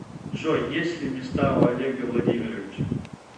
джой есть ли места у олега владимировича